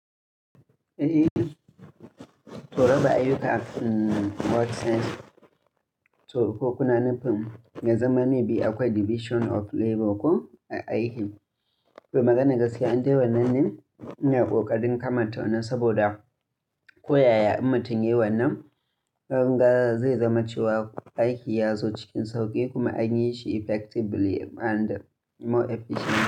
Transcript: Eh, to raba ayyuka mmm work sense to ko kuna nufin na zama maybe akwai division of labor ko aiki. To magana gaskiya, an dai wannan ne a ƙoƙarin kamata wannan saboda koyaya in matun yi wannan, nan gaba zai zama cewa aiki ya zo cikin sauƙi kuma anyi shi effectively and more efficiently.